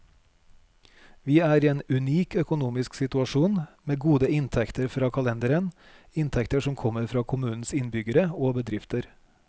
Vi er i en unik økonomisk situasjon, med gode inntekter fra kalenderen, inntekter som kommer fra kommunens innbyggere og bedrifter.